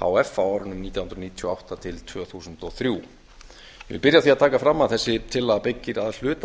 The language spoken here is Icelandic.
h f á árunum nítján hundruð níutíu og átta til tvö þúsund og þrjú ég vil byrja á því að taka fram að þessi tillaga byggir að hluta